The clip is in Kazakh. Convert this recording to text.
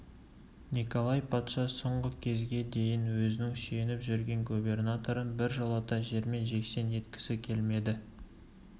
николай патша соңғы кезге дейін өзінің сүйеп жүрген губернаторын біржолата жермен-жексен еткісі келмеді